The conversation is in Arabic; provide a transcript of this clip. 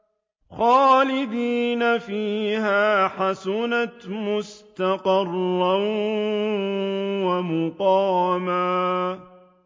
خَالِدِينَ فِيهَا ۚ حَسُنَتْ مُسْتَقَرًّا وَمُقَامًا